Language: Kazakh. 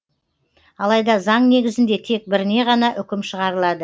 алайда заң негізінде тек біріне ғана үкім шығарылады